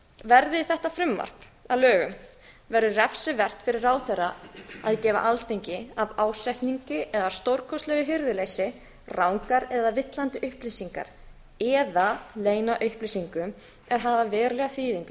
verði þetta frumvarp að lögum verður refsivert fyrir ráðherra að gefa alþingi af ásetningi eða stórkostlegu hirðuleysi rangar eða villandi upplýsingar eða leyna upplýsingum er hafa verulega þýðingu við